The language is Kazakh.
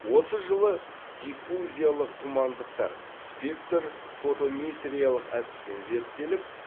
осы жылы диффузиялық тұмандықтар спектр фотометриялық әдіспен зерттеліп